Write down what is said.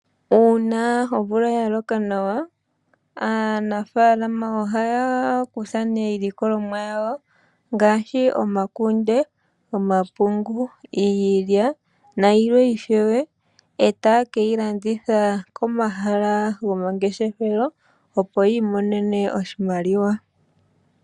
Uuna omvula ya loka nawa aanafalama ohaya kutha nee iilikolomwa yawo ngaashi omakunde, omapungu, iilya nayilwe ishewe, etaya ka landitha komahala goma ngeshefelo, opo yi imonene oshimaliwa.